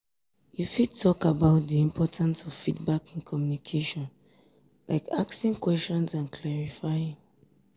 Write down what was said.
you fit talk about di importance of feedback in communication like asking questions and clarifying.